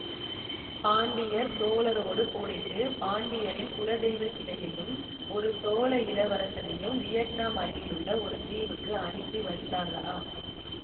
பாண்டியர் சோழரோடு போரிட்டு பாண்டியரின் குலதெய்வ சிலையையும் ஒரு சோழ இளவரசனையும் வியட்னாம் அருகிலுள்ள ஓர் தீவுக்கு அனுப்பி வைத்தார்களாம்